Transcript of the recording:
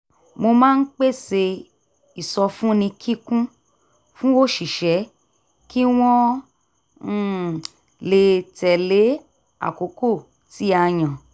mo máa ń pèsè ìsọfúnni kíkún fún òṣìṣẹ́ kí wọ́n um lè tẹle àkókò tí a yàn